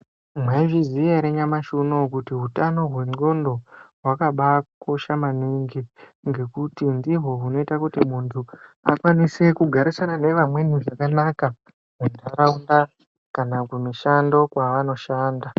Mwaizviziya ere nyamashi unou kuti hutano hwendxondo hwakabakosha maningi ngekuti ndihwo hunoita kuti muntu akone kugarisana neantu zvakanaka muntaraunda kana kundau yaanoshanda.